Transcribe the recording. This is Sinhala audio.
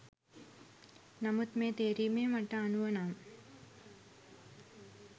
නමුත් මේ තේරීමේ මට අනුව නම්